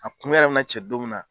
A kun yɛrɛ mɛna cɛ don min na.